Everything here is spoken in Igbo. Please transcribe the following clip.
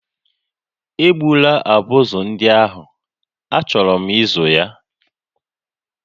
Egbula abụzụ ndị ahụ, achọrọ m ịzụ ha